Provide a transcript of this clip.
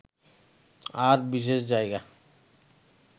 আর বিশেষ জায়গা